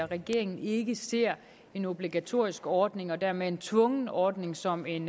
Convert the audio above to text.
regeringen ikke ser en obligatorisk ordning og dermed en tvungen ordning som en